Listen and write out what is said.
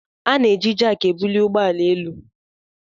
A na-eji Jack ebuli ụgbọ ala elu